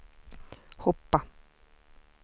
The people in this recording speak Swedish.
hoppa